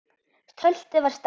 Töltið var sterkt.